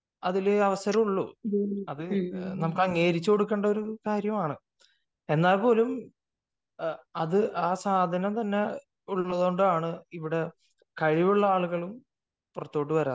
അതിൽ അവസരമുള്ളൂ അത് നമ്മക്ക് അംഗീകരിച്ചു കൊടുക്കേണ്ട കാര്യമാണ് എന്നാല്പോലും ആ സാധനം തന്നെ ഉള്ളതുകൊണ്ടാണ് കഴിവുള്ള ആളുകളും ഇവിടെ പുറത്തോട്ട് വരാത്തത്.